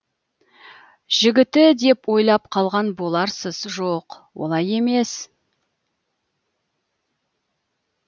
жігіті деп ойлап қалған боларсыз жоқ олай емес